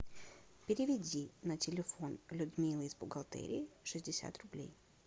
переведи на телефон людмилы из бухгалтерии шестьдесят рублей